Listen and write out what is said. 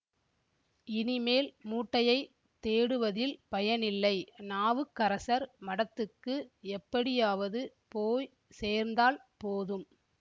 இனிமேல் மூட்டையைத் தேடுவதில் பயனில்லை நாவுக்கரசர் மடத்துக்கு எப்படியாவது போய் சேர்ந்தால் போதும்